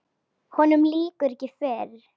Honum lýkur ekki fyrr.